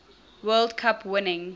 world cup winning